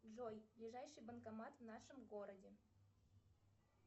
джой ближайший банкомат в нашем городе